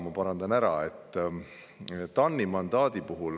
Kõigepealt TAN-i mandaadi kohta.